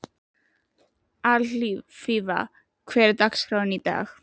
Alfífa, hvernig er dagskráin í dag?